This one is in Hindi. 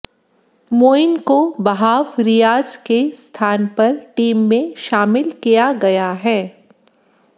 मोइन को वहाब रियाज के स्थान पर टीम में शामिल किया गया है